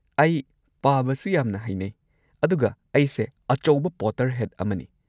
ꯑꯩ ꯄꯥꯕꯁꯨ ꯌꯥꯝꯅ ꯍꯩꯅꯩ ꯑꯗꯨꯒ ꯑꯩꯁꯦ ꯑꯆꯧꯕ ꯄꯣꯇꯔꯍꯦꯗ ꯑꯃꯅꯤ꯫